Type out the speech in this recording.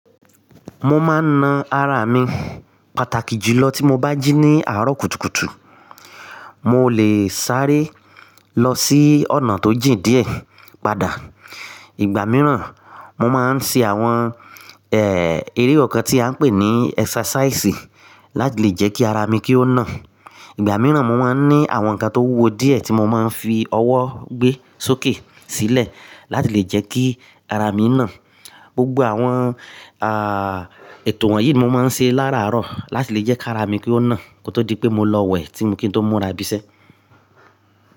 Mo máa ń na ara mi pàtàkì jùlọ tí mo bá jí ní àárọ̀ kùtùkùtù. Mo lè sáré lọ sí ọ̀nà tó jìn díẹ̀ padà. Ìgbà mìíràn, mo máa ń ṣe àwọn, ẹ́, eré ọkan tí a ń pè ní ẹ́sàsáìsì láti lè jẹ́ kí ara mi kí ó na. Ìgbà mìíràn mo máa ń ní àwọn nǹkan tó wúwo díẹ̀ tí mo máa ń fi ọwọ́ gbé sókè sílẹ̀ láti lè jẹ́ kí ara mi na. Gbogbo àwọn, à, ètò wọ̀nyí mo máa ń ṣe lára àárọ̀ láti lè jẹ́ kí ara mi kí ó na kó tó di pé mo lọ wẹ̀ tí mo kí n tó múra bisẹ́.